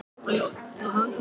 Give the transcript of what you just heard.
Hvaðan kemur saltið?